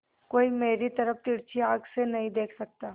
कोई मेरी तरफ तिरछी आँख से नहीं देख सकता